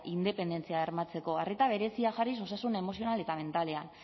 independentzia bermatzeko arreta berezia jarriz osasun emozional eta mentalean